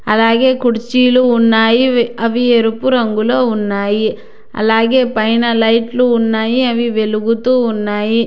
అలాగే కుర్చీలు ఉన్నాయి అవి ఎరుపు రంగులో ఉన్నాయి అలాగే పైన లైట్లు ఉన్నాయి అవి వెలుగుతూ ఉన్నాయి.